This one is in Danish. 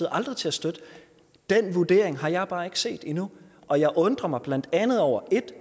aldrig til at støtte den vurdering har jeg bare ikke set endnu og jeg undrer mig blandt andet over 1